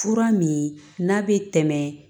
Fura min n'a bɛ tɛmɛ